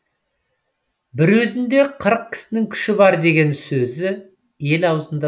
бір өзінде қырық кісінің күші бар деген сөзі ел аузында